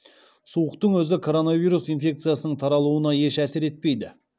суықтың өзі коронавирус инфекциясының таралуына еш әсер етпейді